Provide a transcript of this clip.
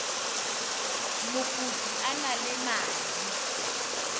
mokopi a na le madi